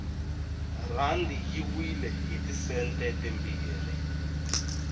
rhandi yi wile hiti sente timbirhi